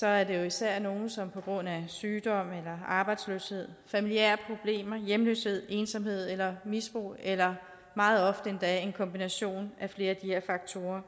er det jo især nogle som på grund af sygdom arbejdsløshed familiære problemer hjemløshed ensomhed eller misbrug eller meget ofte endda en kombination af flere af de her faktorer